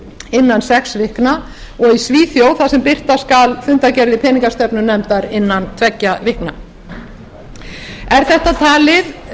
innan sex vikna og í svíþjóð þar sem birta skal fundargerðir peningastefnunefndar innan tveggja vikna er